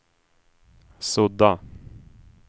sudda